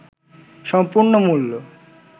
সম্পূর্ণ মূল্য